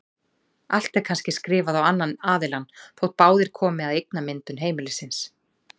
Allt er kannski skrifað á annan aðilann þótt báðir komi að eignamyndun heimilisins.